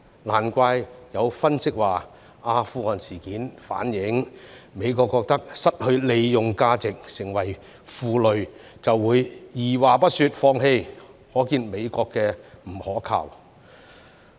難怪有分析指出，阿富汗事件反映美國認為失去利用價值、成為負累，便會二話不說放棄，可見美國的不可靠。